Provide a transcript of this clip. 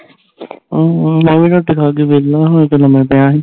ਮੈਂ ਵੀ ਰੋਟੀ ਖਾ ਕੇ ਵੇਹਲਾ ਹੁਣੀ ਤੇ ਲੰਮਾ ਪਿਆ ਸੀ